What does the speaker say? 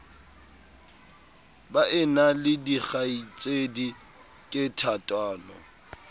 baena le dikgaitsedi ke thatano